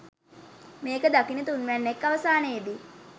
මේක දකින තුන්වැන්නෙක් අවසානයේදි